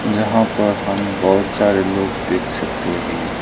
जहां पर हम बहुत सारे लोग देख सकते है।